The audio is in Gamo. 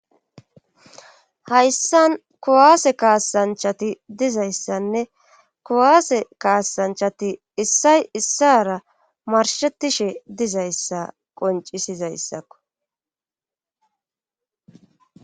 hayssan kuwaase kaasanchati dizayssanne kuwaase kaasanchati issay issara marshetishe dizayssa qoncisizayssakko